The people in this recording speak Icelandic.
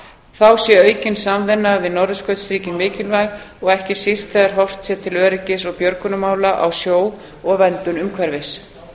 þá sé aukin samvinna við norðurskautsríkin mikilvæg ekki síst þegar horft sé til öryggis og björgunarmála á sjó og verndun umhverfis